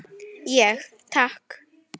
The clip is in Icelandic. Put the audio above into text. Ég: Takk.